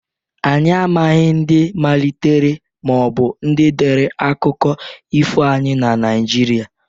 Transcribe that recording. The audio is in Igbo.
Anyị amaghị ndị malitere/ndị dere akụkọ ifo anyị na Naịjirịa